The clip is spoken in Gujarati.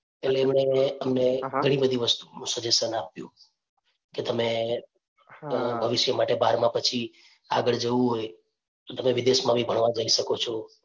એટલે એમણે અમને ઘણી બધી વસ્તુઓ નું suggestion આપ્યું કે તમે ભવિષ્ય માટે બારમા પછી આગળ જવું હોય તો તમે વિદેશ માં બી ભણવા જઈ શકો છો.